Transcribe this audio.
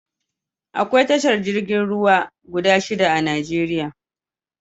Akwai tashar jiragen ruwa guda shida a Najeriya